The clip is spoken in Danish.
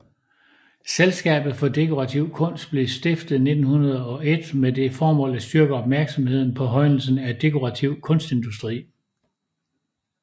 Selskabet for dekorativ Kunst blev stiftet 1901 med det formål at styrke opmærksomheden på højnelsen af dekorativ kunstindustri